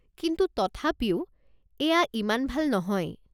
কিন্তু তথাপিও, এইয়া ইমান ভাল নহয়।